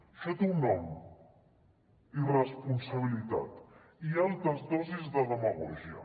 això té un nom irresponsabilitat i altes dosis de demagògia